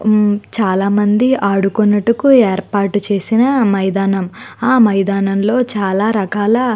చాలామంది ఆడుకొనుటకు ఏర్పాటు చేసిన మైదానం. ఆ మైదానం లో చాలా రకాల--